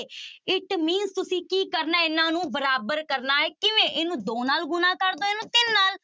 It means ਤੁਸੀਂ ਕੀ ਕਰਨਾ ਹੈ ਇਹਨਾਂ ਨੂੰ ਬਰਾਬਰ ਕਰਨਾ ਹੈ, ਕਿਵੇਂ? ਇਹਨੂੰ ਦੋ ਨਾਲ ਗੁੁਣਾ ਕਰ ਦਓ ਇਹਨੂੰ ਤਿੰਨ ਨਾਲ।